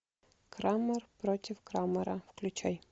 крамер против крамера включай